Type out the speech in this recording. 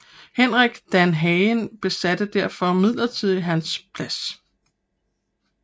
Henrik Danhage besatte derfor midlertidigt hans plads